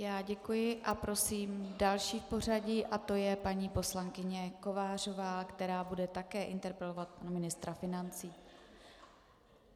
Já děkuji a prosím další v pořadí a to je paní poslankyně Kovářová, která bude také interpelovat pana ministra financí.